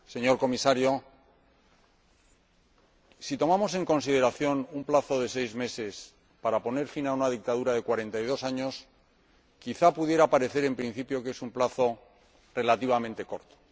Señor Comisario, si tomamos en consideración un plazo de seis meses para poner fin a una dictadura de 42 años, quizás pudiera parecer, en principio, que es un plazo relativamente corto.